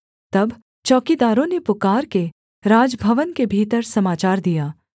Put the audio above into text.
तब चौकीदारों ने पुकारके राजभवन के भीतर समाचार दिया